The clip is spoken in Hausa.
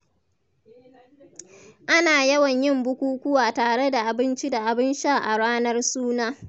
Ana yawan yin bukukuwa tare da abinci da abin sha a ranar suna.